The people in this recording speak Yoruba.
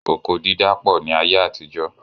Oko dídá pọ ní ayé àtijó